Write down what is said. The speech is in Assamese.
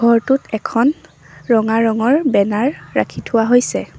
ঘৰটোত এখন ৰঙা ৰঙৰ বেনাৰ ৰাখি থোৱা হৈছে।